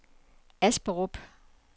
Asperup